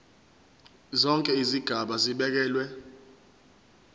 zonke izigaba zibekelwe